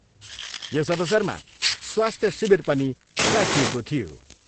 यस अवसरमा स्वास्थ्य शिविर पनि राखिएको थियो।